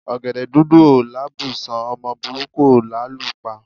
Ọ̀gẹ̀dẹ̀ dúdú ò lábùṣán, ọmọ burúkú ò lálù pa.